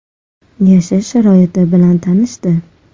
Yashash sharoiti bilan tanishdi.